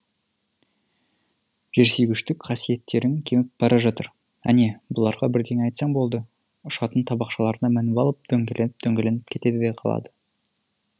жерсүйгіштік қасиеттерің кеміп бара жатыр әне бұларға бірдеңе айтса болды ұшатын табақшаларына мініп алып дөңгеленіп дөңгеленіп кетеді де қалады